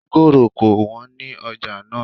Mọ́ngòrò ko wọ́n ní ọjà náà